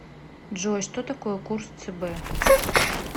джой что такое курс цб